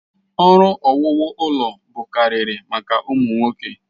Ọrụ owuwu ụlọ bụkarịrị maka ụmụ nwoke.